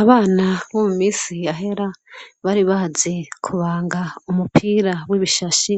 Abana bo mu misi yahera bari bazi kubanga umupira w'ibishashi